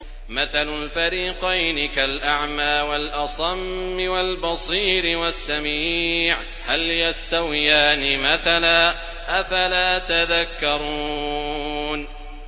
۞ مَثَلُ الْفَرِيقَيْنِ كَالْأَعْمَىٰ وَالْأَصَمِّ وَالْبَصِيرِ وَالسَّمِيعِ ۚ هَلْ يَسْتَوِيَانِ مَثَلًا ۚ أَفَلَا تَذَكَّرُونَ